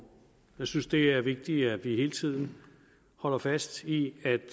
jeg synes at det er vigtigt at vi hele tiden holder fast i at